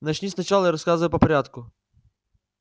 начни сначала и рассказывай по порядку